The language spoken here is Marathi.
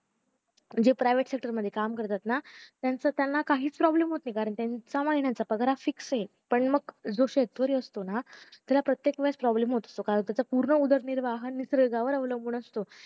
आणि जे privet sector मध्ये काम करता ना त्यांचं त्यांना काहीच problem होत नाही त्यांचा पगार हा fix अ जो शेतकरी असतो ना त्याला प्रत्येक वेळेस problem होतो कारण त्याचा उरण उदरनिर्वाह निसर्गावर अवलंबून असतो